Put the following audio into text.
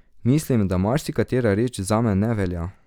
Mislim, da marsikatera reč zame ne velja.